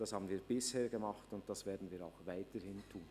Das haben wir bisher getan, und das werden wir auch weiterhin tun.